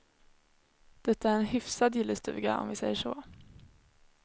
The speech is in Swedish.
Det är en hyfsad gillestuga, om vi säger så.